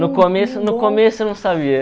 No começo no começo eu não sabia.